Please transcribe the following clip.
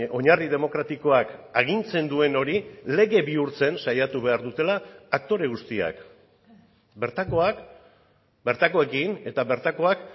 oinarri demokratikoak agintzen duen hori lege bihurtzen saiatu behar dutela aktore guztiak bertakoak bertakoekin eta bertakoak